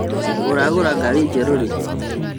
ũragũra ngari njerũ rĩ?